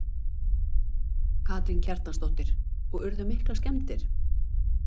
Karen Kjartansdóttir: Og urðu miklar skemmdir?